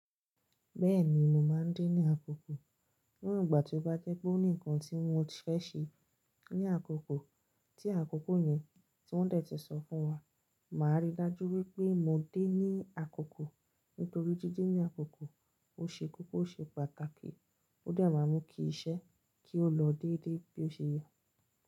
Bẹ́ẹ̀ni mo máa ń dé ní àkókò. Ní ìgbà tí ó bá jẹ́ pé ó nì nkan tí mo fẹ́ ṣe ní àkókò tí àkókò yẹn tí wọ́n de ti sọ fún wa, màá rí i dájú wípé mo dé ní àkókò nítorí dide ní àkókò ó ṣe koko, ó ṣe pàtàkì ó de máa n mú kí iṣẹ́ kí ó lọ déédé bí ó ṣe yẹ.